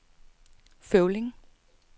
Føvling